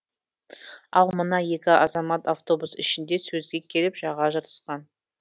ал мына екі азамат автобус ішінде сөзге келіп жаға жыртысқан